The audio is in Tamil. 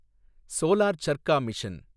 solar charkha mission